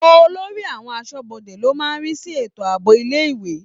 Olórí àwọn aṣọ́bodè ló máa ń rí sí ètò àbọ̀ ilé-ìwé.